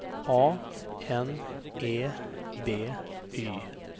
A N E B Y